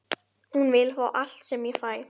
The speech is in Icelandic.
Til þess var svo að segja ætlast af honum.